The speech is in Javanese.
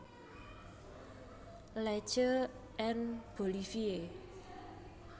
Le Che en Bolivie